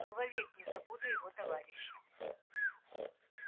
но вовек не забуду его товарища